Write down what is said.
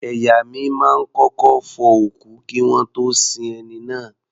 Ẹ̀yà mi máa ń kọ́kọ́ fọ òkú kí wọ́n tó sin ẹni náà.